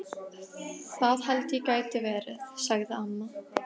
Það held ég geti verið, sagði amma.